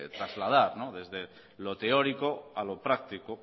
trasladar desde lo teórico a lo práctico